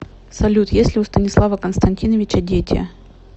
салют есть ли у станислава константиновича дети